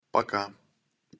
пока